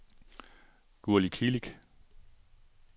Gurli Kilic